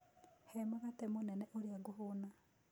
He mũgate mũnĩnĩ ũrĩa ngũhũna